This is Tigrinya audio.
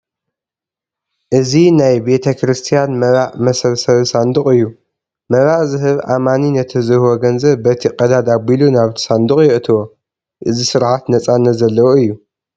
እዚ ናይ ቤተ ክርስቲያን መባእ መሰብሰቢ ሳንዱቕ እዩ፡፡ መባእ ዝህብ ኣማኒ ነቲ ዝህቦ ገንዘብ በቲ ቀዳድ ኣቢሉ ናብቲ ሳንዱቕ የእትዎ፡፡ እዚ ስርዓት ነፃነት ዘለዎ እዩ፡፡